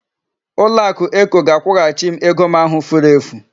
Ụlọakụ Eko ga-akwụghachi m ego m ahụ furu efu.